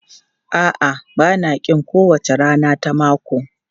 A'a, ba na ƙin kowace rana ta mako.